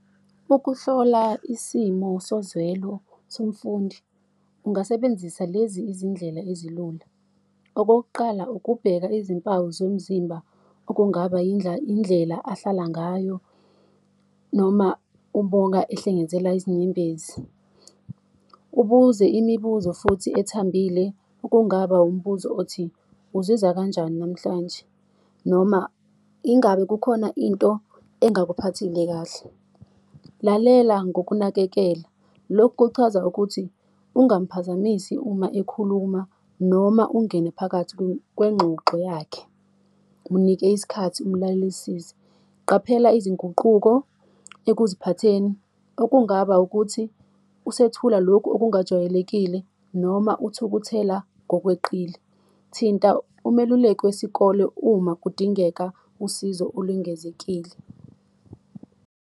Ukuhlola isimo sozwelo somfundi ungasebenzisa lezi izindlela ezilula. Okokuqala, ukubheka izimpawu zomzimba, okungaba indlela ahlala ngayo, noma ubonga ehlengenzela izinyembezi. Ubuze imibuzo futhi ethambile okungaba umbuzo othi, uzizwa kanjani namhlanje noma ingabe kukhona into engakuphathile kahle? Lalela ngokunakekela, lokhu kuchaza ukuthi ungamphazamisi uma ekhuluma, noma ungene phakathi kwengxoxo yakhe, munike isikhathi umlalelisise. Qaphela izinguquko ekuziphatheni, okungaba ukuthi usethula lokhu okungajwayelekile noma uthukuthela ngokweqile. Thinta umeluleki wesikole uma kudingeka usizo olwengezekile.